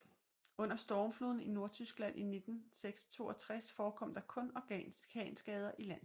Under Stormfloden i Nordtyskland i 1962 forekom der kun orkanskader i landsbyen